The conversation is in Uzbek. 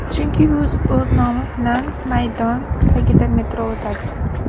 Chunki u o‘z nomi bilan maydon, tagidan metro o‘tadi.